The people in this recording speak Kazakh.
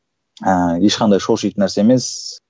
ыыы ешқандай шошитын нәрсе емес